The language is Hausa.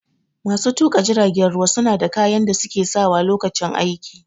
Masu tuƙa jiragen ruwa suna da kayan da suke sawa Lokacin aiki